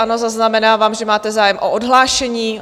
Ano, zaznamenávám, že máte zájem o odhlášení.